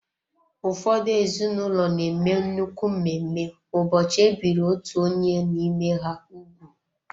Ụfọdụ ezinụlọ na-eme nnukwu mmemme ụbọchị e biri otú onye n'ime ha ugwu.